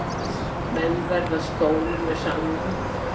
Menn verða stórir með samningum